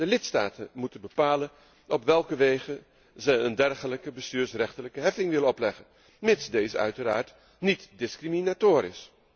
De lidstaten moeten bepalen op welke wegen zij een dergelijke bestuursrechtelijke heffing willen opleggen, mits deze uiteraard niet discriminatoir is.